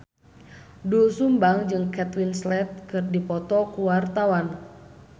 Doel Sumbang jeung Kate Winslet keur dipoto ku wartawan